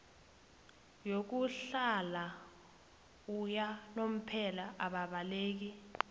yokuhlala yakanomphela ababaleki